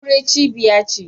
Aure cibiya ce.